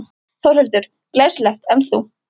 Þórhildur: Glæsilegt, en þú?